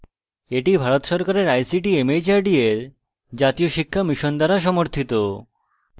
এটি ভারত সরকারের ict mhrd এর জাতীয় সাক্ষরতা mission দ্বারা সমর্থিত